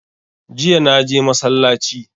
Jiya naje masallaci